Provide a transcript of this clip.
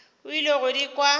o ile go di kwa